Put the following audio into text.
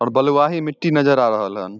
और बलवाही मिटटी नजर आ रहल हन।